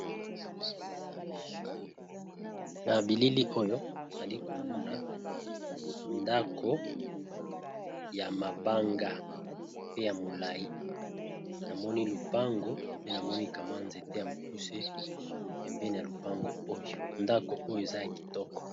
Na bilili oyo nali komona ndako ya mabanga pe ya molai namoni lopango pe namonikamwa nzete ya mokuse pembene ya lopango oyo ndako oyo eza ya kitoko.